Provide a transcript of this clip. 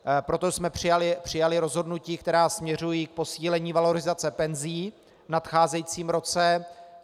Proto jsme přijali rozhodnutí, která směřují k posílení valorizace penzí v nadcházejícím roce.